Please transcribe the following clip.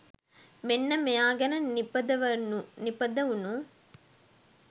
මෙන්න මෙයා ගැන නිපදවුනු